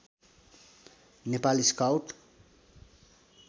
Nepal scout